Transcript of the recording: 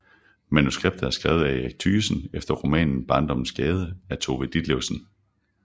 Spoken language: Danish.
Manuskriptet er skrevet af Erik Thygesen efter romanen Barndommens gade af Tove Ditlevsen